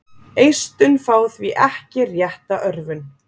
Eistun fá því ekki rétta örvun.